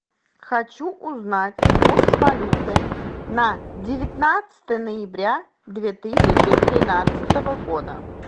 хочу узнать курс валюты на девятнадцатое ноября две тысячи тринадцатого года